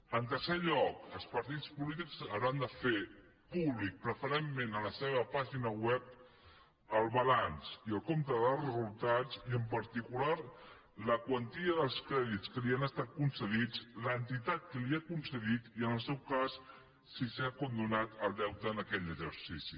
en tercer lloc els partits polítics hauran de fer públic preferentment en la seva pàgina web el balanç i el compte de resultats i en particular la quantia dels crèdits que els han estat concedits l’entitat que els els ha concedit i en el seu cas si s’ha condonat el deute en aquell exercici